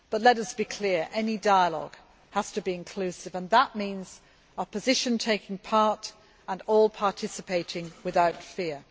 But let us be clear any dialogue has to be inclusive, and that means the opposition taking part and all participating without fear.